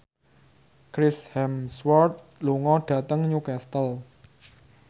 Chris Hemsworth lunga dhateng Newcastle